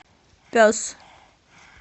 пес